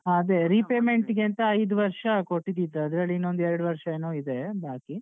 ಹ ಅದೆ repayment ಗೇಂತ ಐದು ವರ್ಷ ಕೊಟ್ಟಿದ್ದಿತ್ ಅದ್ರಲ್ಲಿ ಇನ್ನೊಂದ್ ಎರಡು ವರ್ಷ ಏನೋ ಇದೆ ಬಾಕಿ.